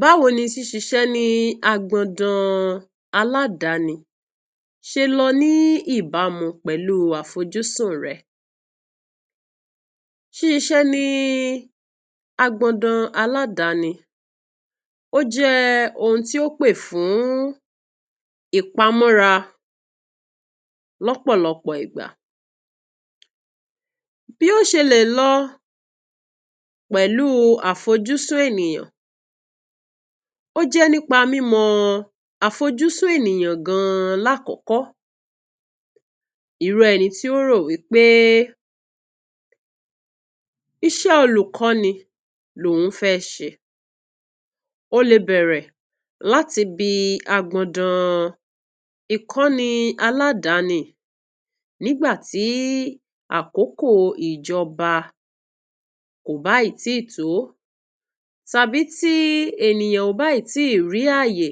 Báwo ni ṣíṣíṣe ní agbọ̀dàn aládání ṣe lọ ní ìbámu àfọ̀júsùn rẹ? Ṣíṣíṣe ní agbọ̀dàn aládání ò jẹ́ ohun tí ó pé fún ìpàmọ̀ra lọ́pọ̀lọpọ̀ ìgbà. Bí ó ṣe lè lọ pẹ̀lú àfọ̀júsùn ènìyàn jẹ́ nípa mímọ̀ àfọ̀júsùn ènìyàn gangan. Lákòókò irú ẹni tí ń tọ́ ọ̀rọ̀ wípé ‘ìṣẹ́ olùkọ́ni lóhùn fẹ́ ṣe’, ó lè bẹ̀rẹ̀ láti ibi agbọ̀dàn ìkọ́ni aládání. Nígbàtí àkókò ìjọba kò bá ì tíì tó tàbí tí ènìyàn ò bá ì tíì rí àyè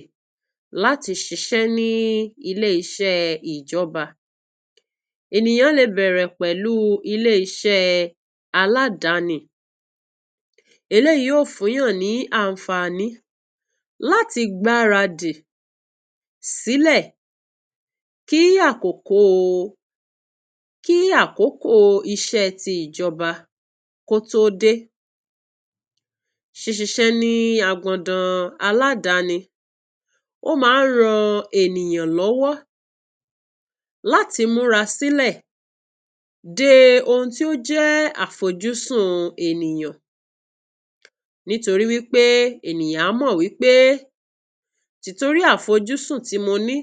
láti ṣiṣẹ́ ní ilé-ìṣẹ́ ìjọba, ènìyàn lè bẹ̀rẹ̀ pẹ̀lú ilé-ìṣẹ́ aládání. Èyí yóò fún yàn ní àǹfààní láti gbáradì sílé kí àkókò iṣẹ́ tí ìjọba kọ́ tó dé. Ṣíṣíṣe ní agbọ̀dàn aládání ó máa ń ràn ènìyàn lọ́wọ́ láti mura sílẹ̀ dé ohun tí ó jẹ́ àfọ̀júsùn ènìyàn, nítorí wípé ènìyàn á mọ̀ wípé tórí àfọ̀júsùn tí mọ́ ní,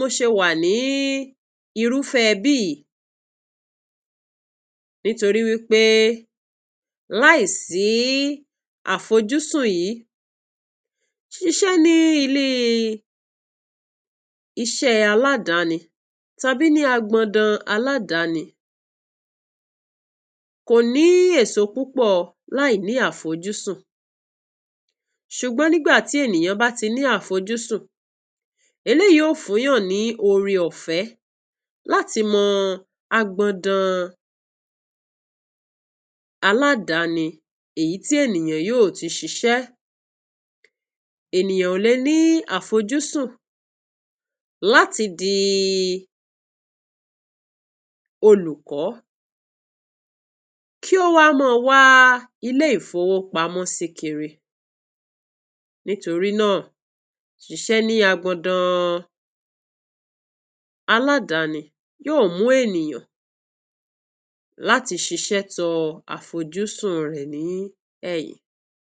mo ṣe wà ní irúfè ibi. Nítorí wípé láìsí àfọ̀júsùn yìí, iṣẹ́ ní ilé-ìṣẹ́ aládání tàbí ní agbọ̀dàn aládání kì yóò ní èso púpọ̀. Láìní àfọ̀júsùn. Ṣùgbọ́n nígbà tí ènìyàn bá ní àfọ̀júsùn, èyí yóò fún yàn ní ọ̀rẹ́ ọ̀fẹ́ láti mọ agbọ̀dàn aládání èyí tí ènìyàn yóò ti ṣiṣẹ́. Ènìyàn ò lè ní àfọ̀júsùn láti di olùkọ́ kí ó wá máa wá ilé ìfowópamọ́ kiri. Nítorí náà, ṣíṣíṣe ní agbọ̀dàn aládání yóò mú ènìyàn láti ṣiṣẹ́ tó àfọ̀júsùn rẹ̀ ní ẹ̀yìn.